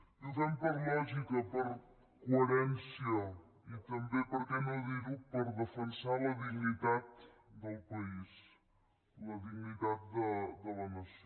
i ho fem per lògica per coherència i també per què no dir ho per defensar la dignitat del país la dignitat de la nació